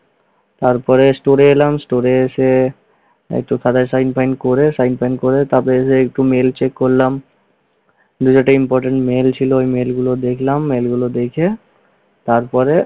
তারপরে store এ এলাম, store এ এসে একটু খাতায় sign ফাইন করে sign ফাইন করে তারপরে একটু mail check করলাম। mail এ একটা important mail ছিল, এই mail গুলো দেখলাম। mail গুলো দেখে তারপরে